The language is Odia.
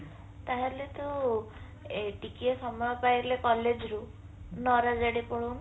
ତାହାଲେ ତୁ ଟିକିଏ ସମୟ ପାଇଲେ college ରୁ ନାରାଜ ଆଡେ ପଳଉନୁ